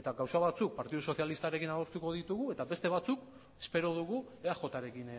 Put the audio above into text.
eta gauza batzuk partidu sozialistarekin adostuko ditugu eta beste batzuk espero dugu eajrekin